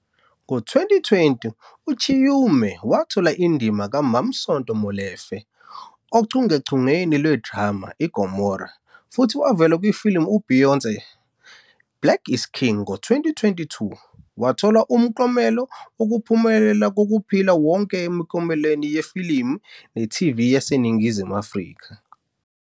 Ngo-2020, uChiume wathola indima kaMam'Sonto Molefe ochungechungeni lwe-drama i-"IGomora" futhi wavela kwifilimu UBeyoncé i-Black Is King. Ngo-2022, wathola umklomelo wokuphumelela kokuphila wonke eMiklomelweni yefilimu ne-TV yaseNingizimu Afrika.